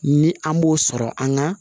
Ni an b'o sɔrɔ an ka